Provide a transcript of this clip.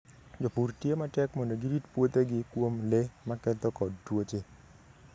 Jopur tiyo matek mondo girit puothegi kuom le maketho kod tuoche.